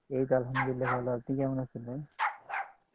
এইতো আলহামদুলিল্লাহ ভালো আপনি কেমন আছেন ভাই